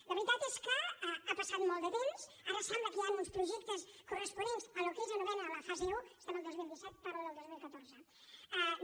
la veritat és que ha passat molt de temps ara sembla que hi han uns projectes corresponents al que ells anomenen la fase un estem al dos mil disset parlo del dos mil catorze de